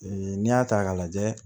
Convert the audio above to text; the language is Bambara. Ee n'i y'a ta k'a lajɛ